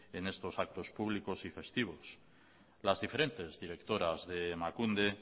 en estos actos públicos y festivos las diferentes directoras de emakunde